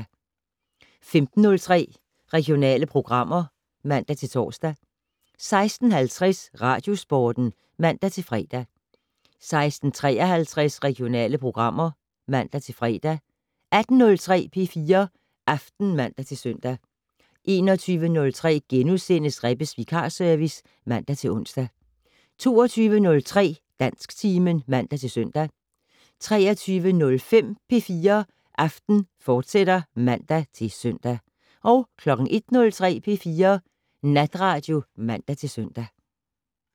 15:03: Regionale programmer (man-tor) 16:50: Radiosporten (man-fre) 16:53: Regionale programmer (man-fre) 18:03: P4 Aften (man-søn) 21:03: Rebbes vikarservice *(man-ons) 22:03: Dansktimen (man-søn) 23:05: P4 Aften, fortsat (man-søn) 01:03: P4 Natradio (man-søn)